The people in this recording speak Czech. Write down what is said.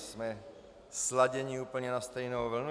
Jsme sladěni úplně na stejnou vlnu.